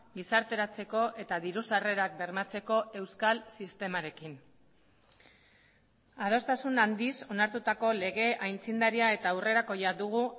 gizarteratzeko eta diru sarrerak bermatzeko euskal sistemarekin adostasun handiz onartutako lege aitzindaria eta aurrerakoia dugu